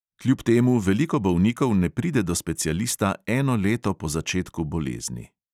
Kljub temu veliko bolnikov ne pride do specialista eno leto po začetku bolezni.